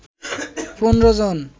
১৫ জন